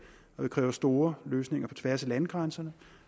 og det kræver store løsninger på tværs af landegrænserne